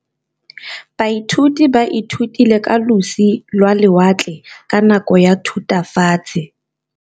Baithuti ba ithutile ka losi lwa lewatle ka nako ya Thutafatshe.